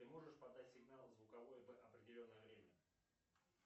ты можешь подать сигнал звуковой в определенное время